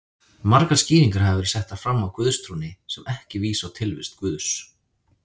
Margar skýringar hafa verið settar fram á guðstrúnni sem ekki vísa á tilvist Guðs.